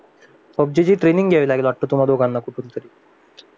PUBG ची training घ्यावी लागेल वाटतं तुम्हाला कुठून तरी